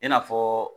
I n'a fɔ